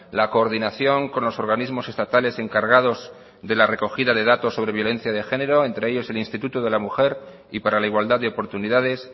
la coordinación con los organismos estatales encargados de la recogida de datos sobre violencia de género entre ellos el instituto de la mujer y para la igualdad de oportunidades